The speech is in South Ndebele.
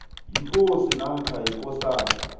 yikosi namkha ikosana